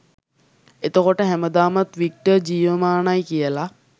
එතකොට හැමදාමත් වික්ටර් ජීවමානයි කියලා